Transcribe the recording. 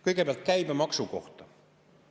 Kõigepealt käibemaksu kohta.